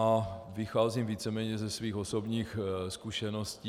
A vycházím víceméně ze svých osobních zkušeností.